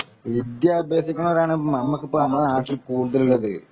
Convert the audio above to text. വിദ്യ അഭ്യസിക്കുന്നവർ ആണ് നമ്മടെ നാട്ടിൽ കൂടുതൽ ഉള്ളത്